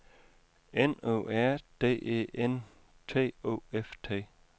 N O R D E N T O F T